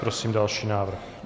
Prosím další návrh.